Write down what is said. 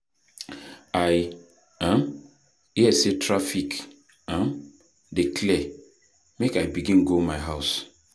I um hear sey traffic um dey clear, make I begin go my house.